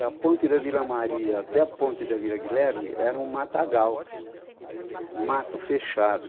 Da ponte da Vila Maria até a ponte da Vila Guilherme era um matagal, um mato fechado.